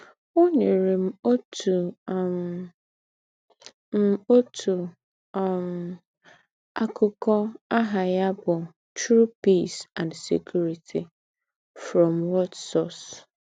“ Ọ́ nyèrè m òtù um m òtù um àkụ́kọ̀ àhà ya bụ̀ True Peace and Security—From What Source? ”